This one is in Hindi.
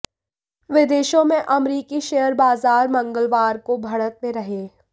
विदेशों में अमेरिकी शेयर बाजार मंगलवार को बढ़त में रहे